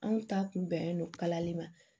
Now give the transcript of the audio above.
Anw ta kun bɛnnen don kalali ma